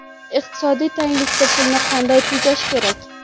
Iqtisodiy tanglikda pulni qanday tejash kerak?.